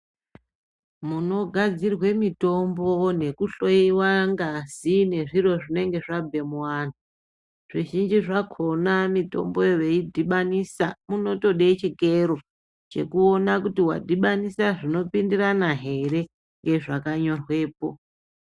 Muno gadzirwe mitombo neku hloyiwa ngazi nezviro zvinenge zvabve mu anhu zvi zhinji zvakona mitomboyo vei dhibanisa muno tode chikero cheku ona kuti wadhibanisa zvino pindirana here nge zvaka nyorwepo.